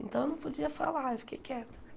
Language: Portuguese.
Então eu não podia falar, eu fiquei quieta.